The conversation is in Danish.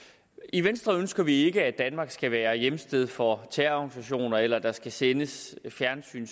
i venstre ønsker vi ikke at danmark skal være hjemsted for terrororganisationer eller at der skal sendes fjernsyn